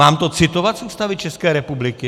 Mám to citovat z Ústavy České republiky?